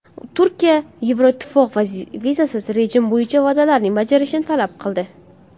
Turkiya Yevroittifoq vizasiz rejim bo‘yicha va’dalarini bajarishini talab qildi.